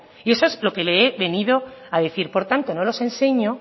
y eso es lo que le he venido a decir por lo tanto no los enseño